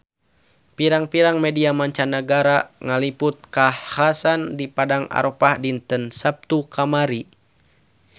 Pirang-pirang media mancanagara ngaliput kakhasan di Padang Arafah dinten Saptu kamari